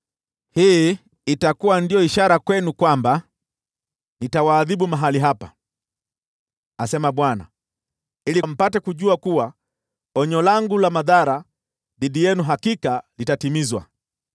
“ ‘Hii itakuwa ndiyo ishara kwenu kwamba nitawaadhibu mahali hapa, asema Bwana , ili mpate kujua kuwa onyo langu la madhara dhidi yenu hakika litatimizwa.’